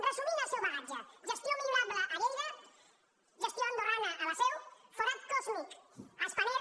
resumint el seu bagatge gestió millorable a lleida gestió andorrana a la seu forat còsmic a spanair